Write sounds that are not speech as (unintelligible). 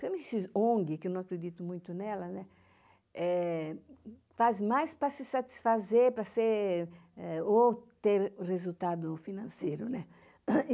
(unintelligible) esses ONG, que eu não acredito muito nela, né, faz mais para se satisfazer, para ser, ou ter resultado financeiro, né?